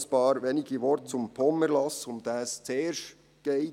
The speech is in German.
Noch einige wenige Worte zum POM-Erlass, um den es zuerst geht.